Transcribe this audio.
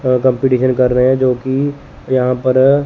अह competition कर रहे है जोकि यहाँ पर--